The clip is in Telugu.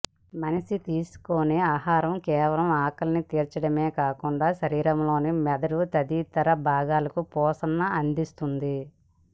మనిషి తీసుకునే ఆహారం కేవలం ఆకలిని తీర్చడమే కాకుండా శరీరంలోని మెదడు తదితర భాగాలకు పోషణనందిస్తుంది